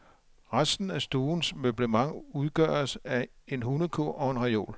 Resten af stuens møblement udgøres af en hundekurv og en reol.